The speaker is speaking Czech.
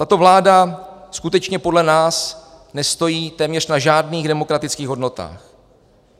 Tato vláda skutečně podle nás nestojí téměř na žádných demokratických hodnotách.